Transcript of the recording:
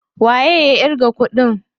Waye ya ƙirga kuɗin?